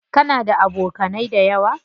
Kana da abokanai dayawa?